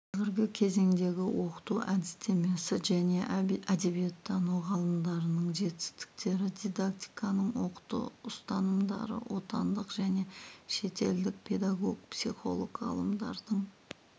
қазіргі кезеңдегі оқыту әдістемесі және әдебиеттану ғылымдарының жетістіктері дидактиканың оқыту ұстанымдары отандық және шетелдік педагог-психолог ғалымдардың